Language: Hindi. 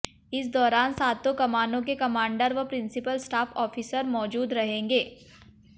इस दौरान सातों कमानों के कमांडर व प्रिंसीपल स्टाफ आफिसर मौजूद रहेंगे